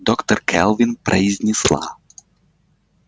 доктор кэлвин произнесла